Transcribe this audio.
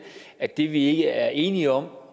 at det vi ikke er enige om